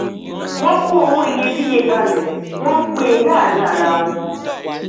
wọn kó owó iyebíye kalẹ wọn npínin láàrin arawọn